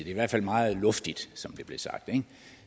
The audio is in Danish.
i hvert fald meget luftigt som det blev sagt